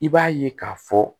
I b'a ye k'a fɔ